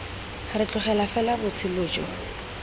re tlogela fela botshelo jo